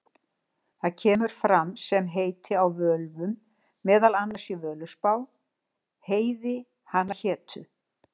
Það kemur fram sem heiti á völvum, meðal annars í Völuspá: Heiði hana hétu,